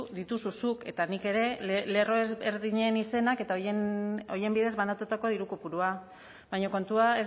dituzu zuk eta nik ere lerro ezberdinen izenak eta horien bidez banatutako diru kopurua baina kontua